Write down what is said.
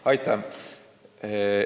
Aitäh!